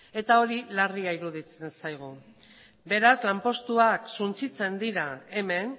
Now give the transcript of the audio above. eta hori larria iruditzen zaigu beraz lanpostuak suntsitzen dira hemen